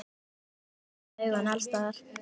Við verðum að hafa augun alls staðar.